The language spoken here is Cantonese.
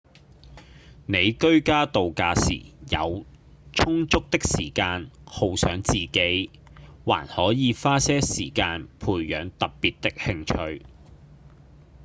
你居家度假時有充足時間犒賞自己還可以花些時間培養特別的興趣